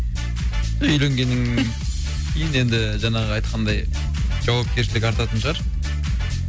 үйленгеннен кейін енді ііі жаңағы айтқандай жауапкершілік артатын шығар